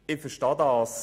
Ich verstehe das: